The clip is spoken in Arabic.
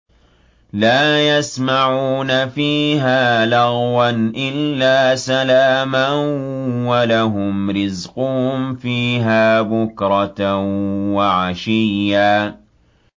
لَّا يَسْمَعُونَ فِيهَا لَغْوًا إِلَّا سَلَامًا ۖ وَلَهُمْ رِزْقُهُمْ فِيهَا بُكْرَةً وَعَشِيًّا